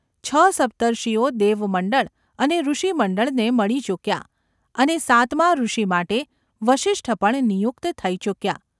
છ સપ્તર્ષિઓ દેવમંડળ અને ઋષિમંડળને મળી ચૂક્યા અને સાતમા ઋષિ માટે વસિષ્ઠ પણ નિયુક્ત થઈ ચૂક્યા.